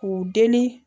K'u deli